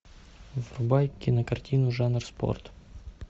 врубай кинокартину жанра спорт